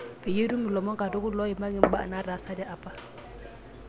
peyie itum ilomon katukul loimaki mbaa naataasate apa